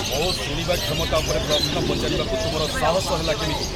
ମୋ ଶୁଣିବା କ୍ଷମତା ଉପରେ ପ୍ରଶ୍ନ ପଚାରିବାକୁ ତୁମର ସାହସ ହେଲା କେମିତି?